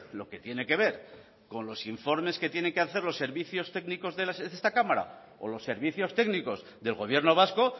lo que tiene que ver con los informes que tienen que hacer los servicios técnicos de esta cámara o los servicios técnicos del gobierno vasco